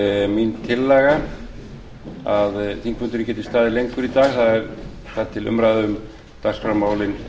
mín tillaga að þingfundurinn geti staðið lengur í dag þar til umræðu um dagskrármálin